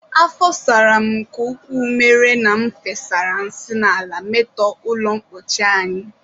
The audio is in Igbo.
Afọ sara m nke ukwuu mere na m fere nsị n'ala metọọ ụlọmkpochi anyị